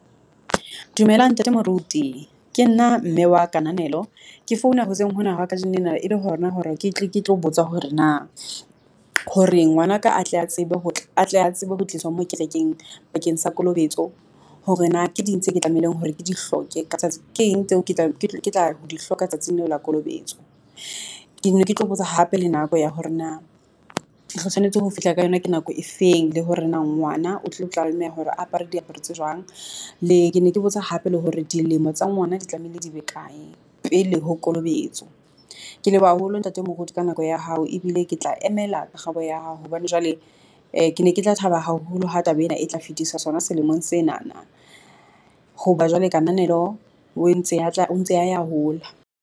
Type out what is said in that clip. Dumela ntate moruti. Ke nna mme wa Kananelo ke founa hoseng hona hwa kajeno lena e le hona hore ke tle ke tlo botsa hore na hore ngwanaka a tle a tsebe ho tla a tle a tsebe ho tliswa mo kerekeng bakeng sa kolobetso, hore na ke di eng tseo ke tlamehileng hore ke di hloke ka tsatsi. Ke eng tseo ke tla di hloka tsatsing leo la kolobetso? Ke ne ke tlo botsa hape le nako ya hore na tshwanetse ho fihla ka yona, ke nako efeng le hore na ngwana o tlilo tlameha hore apara diaparo tse jwang le ke ne ke botsa hape le hore dilemo tsa ngwana di tlamehile di be kae pele ho kolobetso? Ke leboha haholo ntate moruti ka nako ya hao ebile ke tla emela karabo ya hao hobane jwale . Ke ne ke tla thaba haholo ha taba ena e tla fetiswa sona selemong senana. Hoba jwale Kananelo o ntse o ntse a ya a hola.